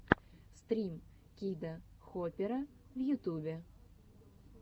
стрим кида хопера в ютубе